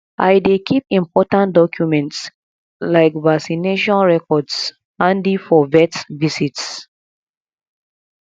i dey keep important documents like vaccination records handy for vet visits